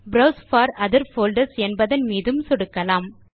browse for other folders என்பதன் மீதும் சொடுக்கலாம்